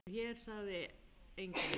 Og hér sagði enginn